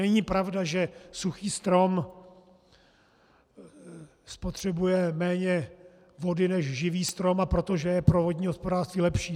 Není pravda, že suchý strom spotřebuje méně vody než živý strom, a proto je pro vodní hospodářství lepší.